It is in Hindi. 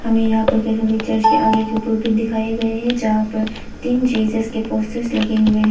हमें यहां पर कैथोलिक चर्च के आगे के प्रोफेट दिखाए गए हैं जहां पर तीन जीसस के पोस्टर्स लगे हुए हे।